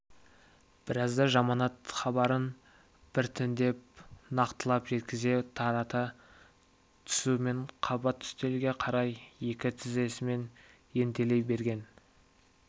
біразда жаманат хабарын біртіндеп нақтылап жеткізе тарата түсумен қабат үстелге қарай екі тізесімен ентелей берген